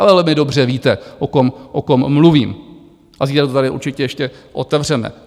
Ale vy dobře víte, o kom mluvím, a zítra to tady určitě ještě otevřeme.